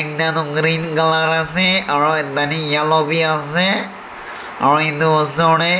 ekta toh green color ase aro tade yellow b ase aro edu osor de